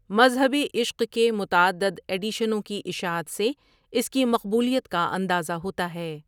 مذہبِ عشق کے متعدد ایڈیشنوں کی اشاعت سے اس کی مقبولیت کا اندازہ ہوتا ہے۔